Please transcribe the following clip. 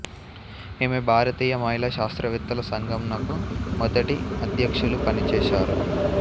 ఈమె భారతీయ మహిళా శాస్త్రవేత్తల సంఘం నకు మొదటి అధ్యక్షులుగా పనిచేశారు